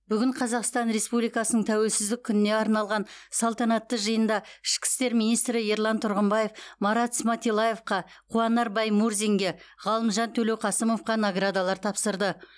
бүгін қазақстан республикасының тәуелсіздік күніне арналған салтанатты жиында ішкі істер министрі ерлан тұрғымбаев марат сматиллаевқа қуанар баймурзинге ғалымжан төлеуқасымовқа наградалар тапсырды